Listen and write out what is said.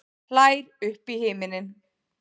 Hlær upp í himininn.